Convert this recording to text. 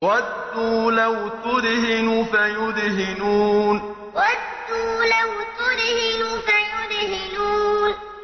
وَدُّوا لَوْ تُدْهِنُ فَيُدْهِنُونَ وَدُّوا لَوْ تُدْهِنُ فَيُدْهِنُونَ